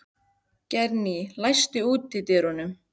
Geirný, læstu útidyrunum.